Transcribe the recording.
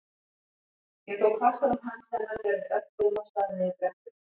Ég tók fastar um hönd hennar þegar við örkuðum af stað niður brekkuna.